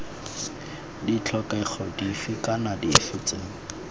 ditlhokego dife kana dife tse